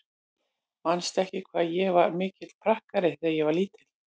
Manstu ekki hvað ég var mikill prakkari þegar ég var lítil?